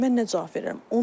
Mən nə cavab verərəm?